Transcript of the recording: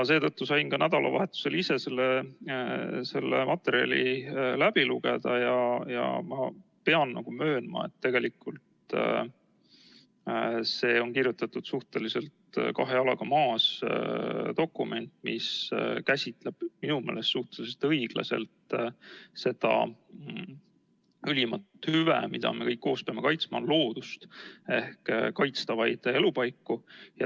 Sain nädalavahetusel ka ise selle materjali läbi lugeda ja pean möönma, et tegelikult on see suhteliselt kahe jalaga maas olles kirjutatud dokument, mis käsitleb minu meelest suhteliselt õiglaselt seda ülimat hüve, mida me kõik koos peame kaitsma, ehk loodust, kaitstavaid elupaiku.